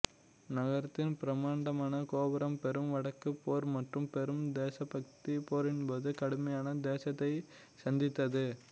நகரத்தின் பிரமாண்டமான கோபுரம் பெரும் வடக்குப் போர் மற்றும் பெரும் தேசபக்தி போரின்போது கடுமையான சேதத்தை சந்தித்தது